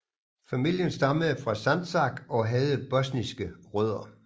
Familien stammede fra Sandžak og havde bosniske rødder